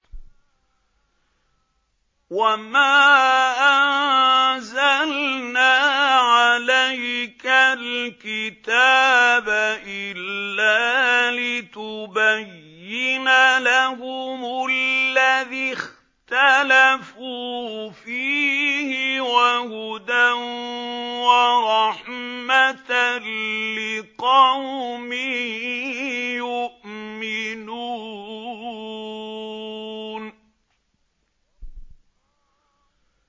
وَمَا أَنزَلْنَا عَلَيْكَ الْكِتَابَ إِلَّا لِتُبَيِّنَ لَهُمُ الَّذِي اخْتَلَفُوا فِيهِ ۙ وَهُدًى وَرَحْمَةً لِّقَوْمٍ يُؤْمِنُونَ